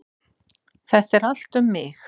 Þetta er allt um mig!